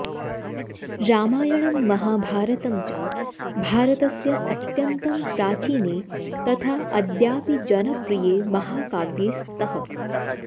रामायणं महाभारतं च भारतस्य अत्यन्तं प्राचीने तथा अद्यापि जनप्रिये महाकाव्ये स्तः